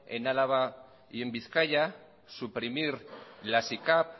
en álava y en bizkaia suprimir las icap